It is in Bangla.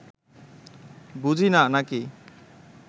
বুঝি না, নাকি